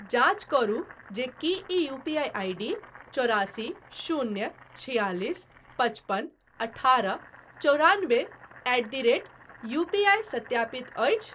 जाँच करू जे कि ई यूपीआई आईडी चौरासी शून्य छिआलिस पचपन अठारह चौरानबे एट द रेट यूपीआई सत्यापित अछि ?